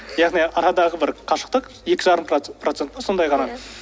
яғни арадағы бір қашықтық екі жарым процент па сонай ғана